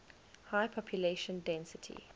high population density